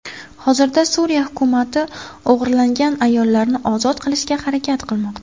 Hozirda Suriya hukumati o‘g‘irlangan ayollarni ozod qilishga harakat qilmoqda.